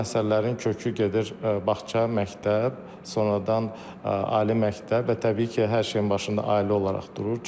Bu məsələlərin kökü gedir bağça, məktəb, sonradan ali məktəb və təbii ki, hər şeyin başında ailə olaraq durur.